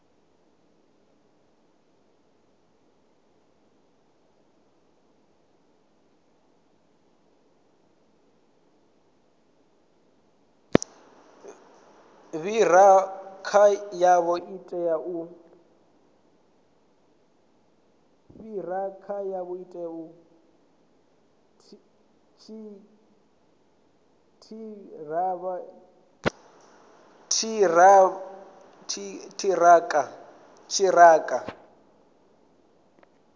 ṱhirakha yavho i tea u